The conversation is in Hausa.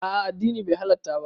A'a addini bai halatta ba